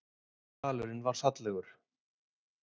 Dalurinn var fallegur